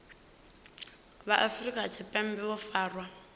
vha afrika tshipembe vho farwaho